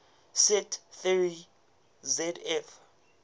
set theory zf